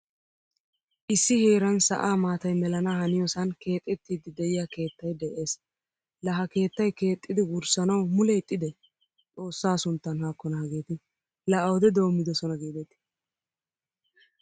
Issi heeran sa'aa maataay mellana haniyosan keexettidi de'iya keettay de'ees. La ha keettay keexxidi wurssanawu mule ixxide? Xoossa sunttan haakkona hageeti la awude doommidosona giidet.